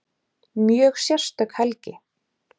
Mjög sérstök helgi